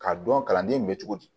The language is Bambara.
K'a dɔn kalanden bɛ cogo di